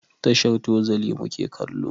Tashar Tozali mu ke kallo.